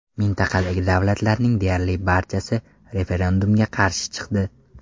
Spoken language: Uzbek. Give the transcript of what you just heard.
Mintaqadagi davlatlarning deyarli barchasi referendumga qarshi chiqdi.